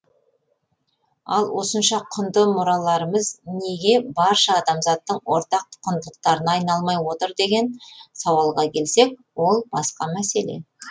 ал осынша құнды мұраларымыз неге барша адамзаттың ортақ құндылықтарына айналмай отыр деген сауалға келсек ол басқа мәселе